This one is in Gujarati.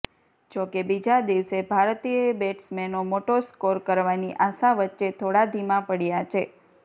જોકે બીજા દિવસે ભારતીય બેટ્સમેનો મોટો સ્કોર કરવાની આશા વચ્ચે થોડા ધીમા પડ્યા છે